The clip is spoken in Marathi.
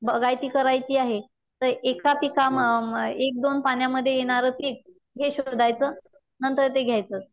बागायती करायची आहे तर एका पिका म अ अ एक दोन पाण्यामध्ये येणार पीक शोधायचं नंतर ते घ्यायचं.